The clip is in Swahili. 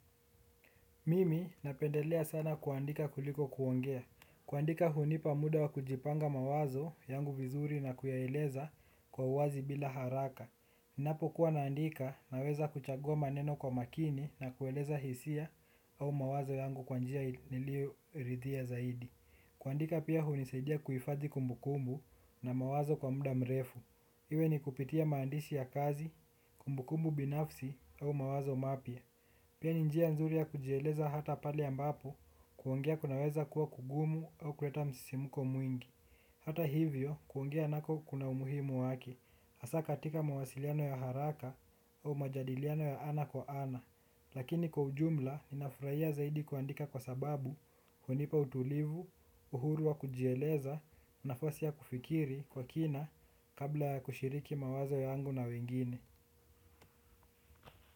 Mimi napendelea sana kuandika kuliko kuongea. Kuandika hunipa muda wa kujipanga mawazo yangu vizuri na kuyaeleza kwa uwazi bila haraka. Ninapokuwa naandika naweza kuchagua maneno kwa makini na kueleza hisia au mawazo yangu kwa njia nilioridhia zaidi. Kuandika pia hunisaidia kuifadhi kumbukumbu na mawazo kwa muda mrefu. Iwe ni kupitia maandishi ya kazi, kumbukumbu binafsi au mawazo mapya. Pia ni njia nzuri ya kujieleza hata pale ambapo kuongea kunaweza kuwa kugumu au kuleta msisimuko mwingi. Hata hivyo kuongea nako kuna umuhimu wake, hasa katika mawasiliano ya haraka au majadiliano ya ana kwa ana. Lakini kwa ujumla ninafurahia zaidi kuandika kwa sababu hunipa utulivu, uhuru wa kujieleza, nafasi ya kufikiri kwa kina kabla ya kushiriki mawazo yangu na wengine.